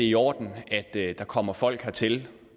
i orden at der kommer folk hertil